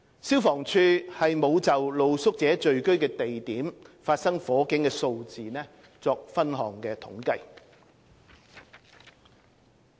消防處沒有就露宿者聚居地點發生火警的數字作分項統計。